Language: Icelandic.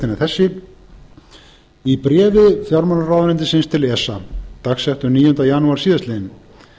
megintextinn er þessi í bréfi fjármálaráðuneytisins til esa dagsettu níunda janúar síðastliðinn